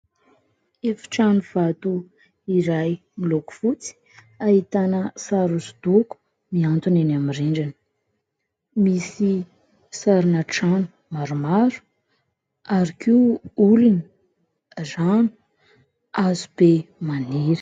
Efitrano vato iray miloko fotsy ahitana sary hosodoko miantona eny amin'ny rindrina misy sarina trano maromaro ary koa olona, rano, hazo be maniry.